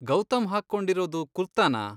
ಗೌತಮ್ ಹಾಕ್ಕೊಂಡಿರೋದು ಕುರ್ತಾನಾ?